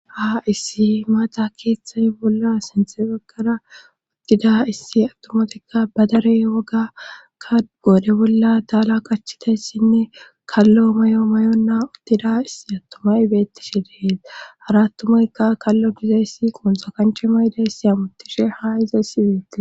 Ha issi maata keeththay bolla senthefegara uttida issi attomatikka badarey wogakka goode bolla daala qachiteyssinne kallo may7o may7onna uttida issi attomay bettishe dehees hara attumayka kallo dizayssi quunxa kanche mayde ssi amuttishe ha iza siwiiti